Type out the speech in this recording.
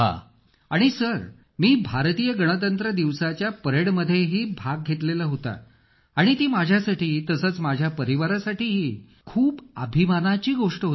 अखिल आणि सर मी भारतीय गणतंत्र दिवसाच्या परेडमध्ये पण भाग घेतला होता आणि ती माझ्यासाठी तसेच माझ्या परिवारासाठी खूपच अभिमानाची गोष्ट होती